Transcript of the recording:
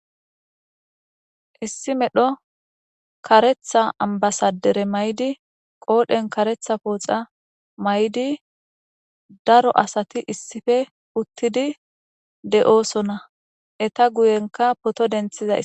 issi medho karetha ambasadere may7di qoodhen karetha pooxa may7di daro asati issife uttidi de7oosona eta guyenka poto denthizay